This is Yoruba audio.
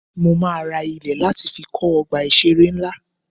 Mo máa ra ilẹ̀ láti fi kọ́ Ọgbà ìṣeré ńlá.